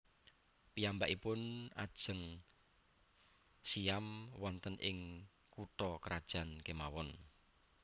Piyambakipun ajeng siyam wonten ing kutha krajan kemawon